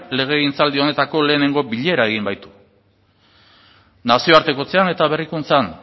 legegintzaldi honetako lehenengo bilera egin baitu nazioartekotzean eta berrikuntzan